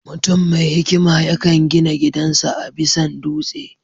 Mutuam mai hikima yakan gina gidan sa a bisan dutse